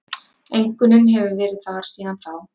Einkunnin hefur verið þar síðan þá